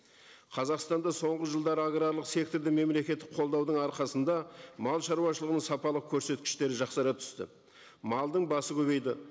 қазақстанда соңғы жылдары аграрлық секторды мемлекеттік қолдаудың арқасында мал шаруашылығының сапалы көрсеткіштері жақсара түсті малдың басы көбейді